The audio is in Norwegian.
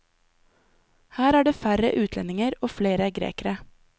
Her er det færre utlendinger og flere grekere.